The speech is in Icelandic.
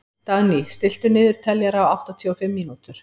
Dagný, stilltu niðurteljara á áttatíu og fimm mínútur.